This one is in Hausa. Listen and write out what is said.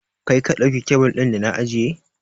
Kai ka ɗauki kyabil ɗin da na ajiye?